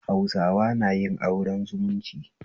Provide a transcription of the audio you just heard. Hausawa nayin auren zumunci